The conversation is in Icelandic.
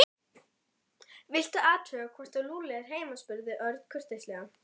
Viltu athuga hvort Lúlli er heima spurði Örn kurteislega.